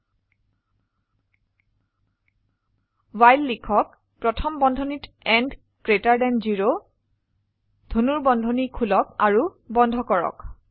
while লিখক প্ৰথম বন্ধনীত n গ্ৰেটাৰ দেন 0 ধনুৰ্বন্ধনী খোলক আৰু বন্ধ কৰক